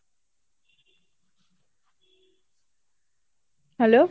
hello